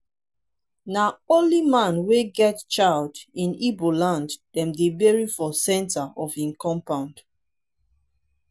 na only man wey get child in igbo land dem dey bury for centre of im compound.